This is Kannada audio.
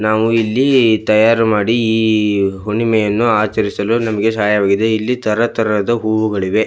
ನಾವು ಇಲ್ಲಿ ತಯಾರು ಮಾಡಿ ಈ ಹುಣ್ಣಿಮೆಯನ್ನು ಆಚರಿಸಲು ನಮಗೆ ಸಹಾಯವಾಗಿದೆ ಇಲ್ಲಿ ತರ ತರಹದ ಹೂವುಗಳಿವೆ.